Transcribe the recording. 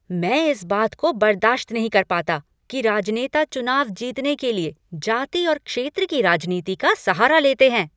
मैं इस बात को बर्दाश्त नहीं कर पता कि राजनेता चुनाव जीतने के लिए जाति और क्षेत्र की राजनीति का सहारा लेते हैं।